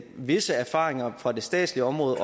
visse erfaringer fra det statslige område